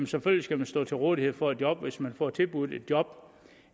selvfølgelig skal man stå til rådighed for et job og hvis man får tilbudt et job